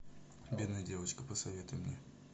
бедная девочка посоветуй мне